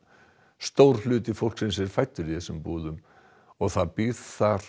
stór hluti fólksins er fæddur í þessum búðum og það býr þar